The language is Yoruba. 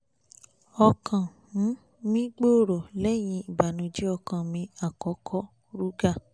ọkàn um mi gbòòrò lẹ́yìn ìbànújẹ́ ọkàn mi àkọ́kọ́ruger